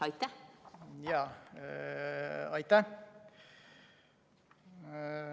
Aitäh!